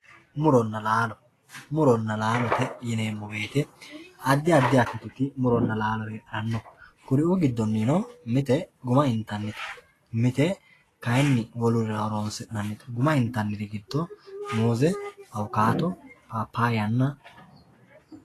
muronna laalo muronna laalote yineemo woyiite addi addiha muronna laalote heedhanno kuri"uu goddonino mite guma intannite mite kayiini wolurira horoonsi'nannite guma inttaniri giddo muuse awukaato papaayanna